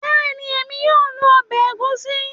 Bẹ́ẹ̀ni, èmi yóò lo obe egusi